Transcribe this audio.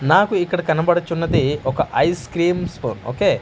నాకు ఇక్కడ కనబడుచున్నది ఒక ఐస్ క్రీమ్స్ ఒకే --